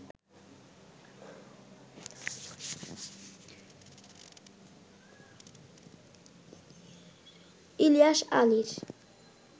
ইলিয়াস আলীর